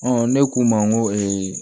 ne k'u ma n ko